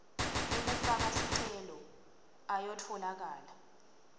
ekufaka sicelo ayatfolakala